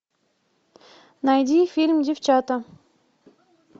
найди фильм девчата